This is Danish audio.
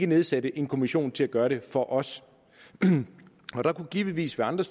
nedsætte en kommission til at gøre det for os der kunne givetvis være andre